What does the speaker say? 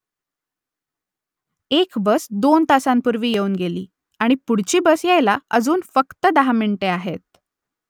एक बस दोन तासांपूर्वी येऊन गेली आणि पुढची बस यायला अजून फक्त दहा मिनिटे आहेत